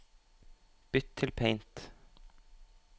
Bytt til Paint